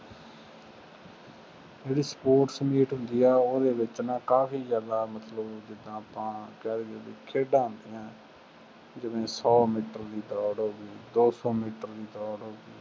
ਜਿਹੜੀ sports meet ਹੁੰਦੀ ਆ, ਉਹਦੇ ਵਿੱਚ ਨਾ ਕਾਫੀ ਜ਼ਿਆਦਾ ਮਤਲਬ ਬਈ ਜਿਦਾਂ ਆਪਾਂ ਕਹਿ ਦੇਈਏ ਖੇਡਾਂ ਹੁੰਦੀਆਂ, ਜਿਵੇਂ ਸੌ ਮੀਟਰ ਦੀ ਦੌੜ ਹੋ ਗਈ, ਦੋ ਸੌ ਮੀਟਰ ਦੀ ਦੌੜ ਹੌ ਗਈ।